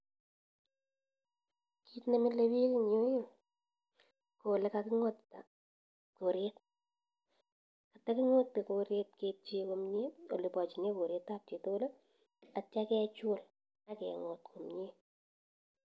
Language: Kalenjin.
Kit nemille pik in yu ii ko ole kaking'otita koret, kataking'ote koret kepchee komnyee olepachine koret ap chitukul atya kechul ake ng'ot komnye.